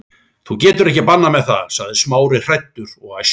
Þú getur ekki bannað mér það- sagði Smári, hræddur og æstur.